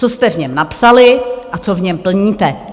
Co jste v něm napsali a co v něm plníte.